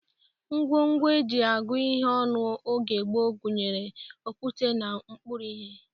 Ngwongwo e ji agụ ihe ọnụ oge gboo gụnyere okwute na mkpụrụ ihe